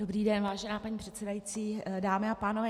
Dobrý den, vážená paní předsedající, dámy a pánové.